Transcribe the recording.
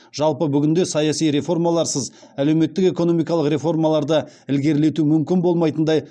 жалпы бүгінде саяси реформаларсыз әлеуметтік экономикалық реформаларды ілгерілету мүмкін болмайтындай